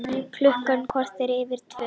Klukkan korter yfir tvö